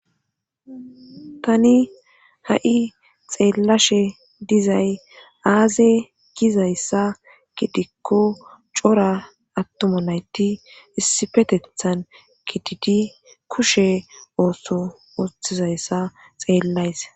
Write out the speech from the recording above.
tani ha7i xeellashe dizay aaze gizayssa gidikko cora attuma nayti issifetethan gididi kushe ooso wothizayssa xeellays